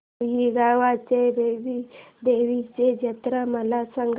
रुई गावच्या बाबीर देवाची जत्रा मला सांग